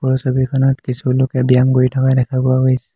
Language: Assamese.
ওপৰৰ ছবিখনত কিছুলোকে ব্যায়াম কৰি থকা দেখা পোৱা গৈছে।